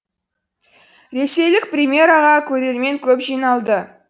ресейлік премьераға көрермен көп жиналды